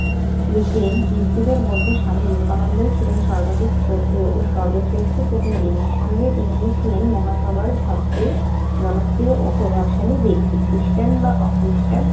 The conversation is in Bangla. ইউক্লেন হিন্দুদের মধ্যে স্বামী বিবেকানন্দী ছিলেন সর্বাধিক শ্রদ্ধেয় ও সর্বশ্রেষ্ঠ প্রতিনিধি। নিঃসন্দেহে তিনি ছিলেন মহাসভার সবচেয়ে জনপ্রিয় ও প্রভাবশালী ব্যক্তি। খ্রিস্টান বা অখ্রিস্টান